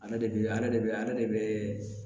A yɛrɛ de bɛ a yɛrɛ de bɛ ale de bɛ